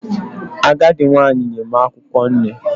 Agadi nwanyi nye m akwukwo nne